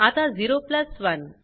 आता 0 प्लस 1